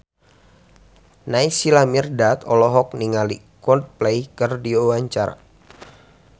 Naysila Mirdad olohok ningali Coldplay keur diwawancara